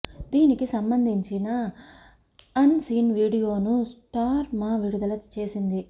దీనికి సంబంధించిన unseen వీడియోను స్టార్ మా విడుదల చేసింది